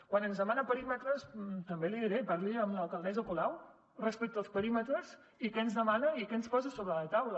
quan ens demana perímetres també l’hi diré parli amb l’alcaldessa colau respecte als perímetres i què ens demana i què ens posa sobre la taula